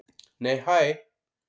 Nei hæ!